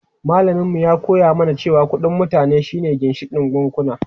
Malamin mu ya koya mana cewa kudin mutane shi ne ginshikin bankuna.